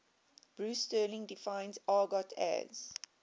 bruce sterling defines argot as